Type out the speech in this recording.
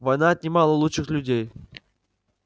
война отнимала лучших людей